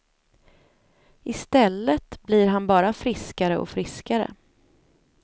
I stället blir han bara friskare och friskare.